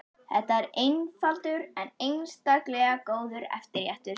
Þetta er einfaldur en einstaklega góður eftirréttur.